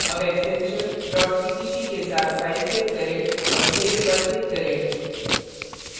अब extension dot cpp के साथ फ़ाइल सेव करें और save पर click करें